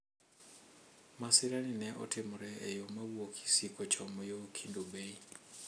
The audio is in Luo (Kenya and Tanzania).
Masira ni ne otimore e yo mowuok Kisii kochomo yo Kendu bay.